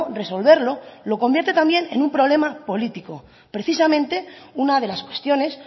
resolverlo lo convierte también en un problema político precisamente una de las cuestiones